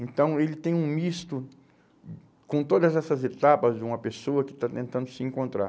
Então ele tem um misto com todas essas etapas de uma pessoa que está tentando se encontrar.